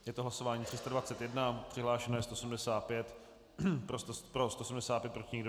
Je to hlasování 321, přihlášeno je 175, pro 175, proti nikdo.